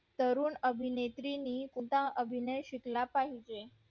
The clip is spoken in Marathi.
तरुण अभिनेत्री ने सुद्धा अभिनय शिकला पाहिजे